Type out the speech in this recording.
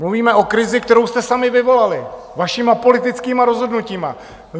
Mluvíme o krizi, kterou jste sami vyvolali vašimi politickými rozhodnutími.